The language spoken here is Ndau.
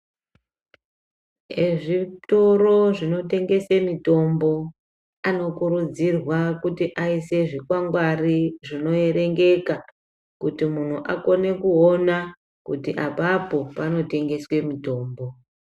Ezvitoro zvinotengese mitombo, anokurudzirwa kuti aise zvikwangwari zvinoerengeka kuti muntu akone kuona kuti apapo panotengeswe mutombo.